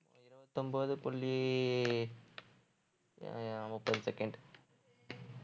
இருபத்தொன்பது புள்ளி அஹ் முப்பது second